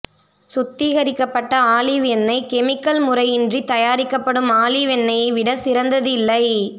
சுத்திகரிக்கப்பட்ட ஆலிவ் எண்ணெய் கெமிக்கல் முறையின்றி தயாரிக்கப்படும் ஆலிவ் எண்ணெய்யை விட சிறந்தது இல்லை